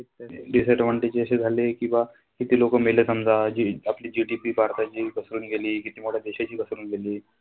Disadvantage असे झाले की बा किती लोकं मेले समजा आपली GDP भारताची घसरून गेली, किती मोठ्या देशाची घसरून गेली.